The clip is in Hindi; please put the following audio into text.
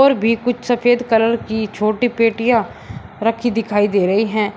और भी कुछ सफेद कलर की छोटी पेटियां रखी दिखाई दे रही हैं।